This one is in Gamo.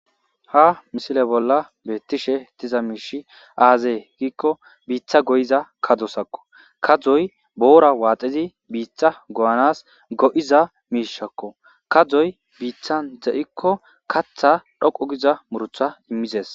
ha misile bolla beettishe diza miishi aazee giikko biita go7iza kadosakko kadzoy boora waaxizi biiththa go7anas go7iza miishakko kadoy biittan de7ikko katha dhoqu giza murtha immizes